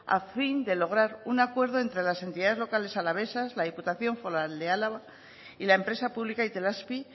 a fin de lograr un acuerdo entre las entidades locales alavesas la diputación foral de álava y la empresa pública itelazpi